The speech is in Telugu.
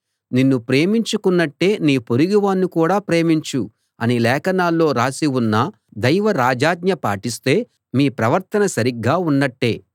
నిన్ను ప్రేమించుకున్నట్టే నీ పొరుగువాణ్ణి కూడా ప్రేమించు అని లేఖనాల్లో రాసి ఉన్న దైవ రాజాజ్ఞ పాటిస్తే మీ ప్రవర్తన సరిగా ఉన్నట్టే